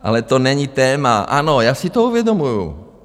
Ale to není téma, ano, já si to uvědomuji.